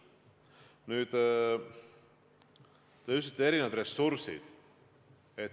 Nüüd, te mainisite erinevaid ressursse.